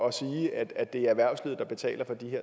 at sige at det er erhvervslivet der betaler for de